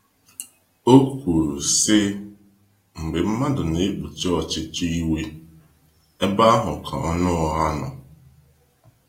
O kwuru sị, mgbe mmadụ na ekpuchi ọchịchọ iwe, ebe ahụ ka ọnụ ụgha nọ.